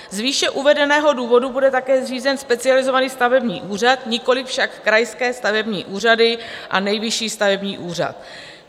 Z výše uvedeného důvodu bude také zřízen Specializovaný stavební úřad, nikoli však krajské stavební úřady a Nejvyšší stavební úřad.